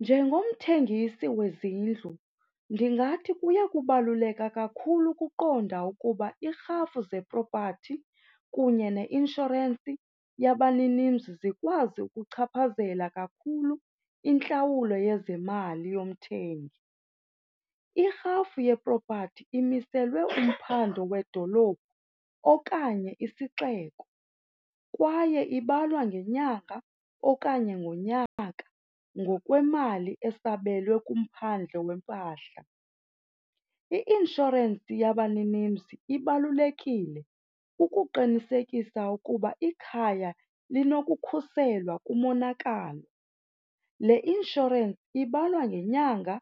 Njengomthengisi wezindlu, ndingathi kuyakubaluleka kakhulu ukuqonda ukuba irhafu zepropathi kunye neinshorensi yabaninimzi zikwazi ukuchaphazela kakhulu intlawulo yezemali yomthengi. Irhafu yepropathi imiselwe umphando wedolophu okanye isixeko kwaye ibalwa ngenyanga okanye ngonyaka ngokwemali esabelwe kumphandle wempahla. I-inshorensi yabaninimzi ibalulekile ukuqinisekisa ukuba ikhaya linokukhuselwa kumonakalo. Le inshorensi ibalwa ngenyanga